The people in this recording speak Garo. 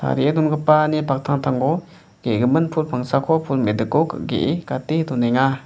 donggipani paktangtango ge·gimin pul pangsako pul me·diko ge·e gate donenga.